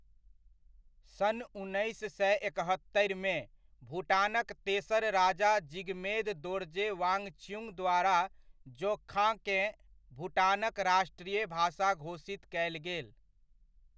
सन् उन्नैस सए एकहत्तरिमे, भुटानक तेसर राजा जिगमेद दोर्जे वाङछ्युग द्वारा जोङ्खाकेँ, भुटानक राष्ट्रीय भाषा घोषित कयल गेल।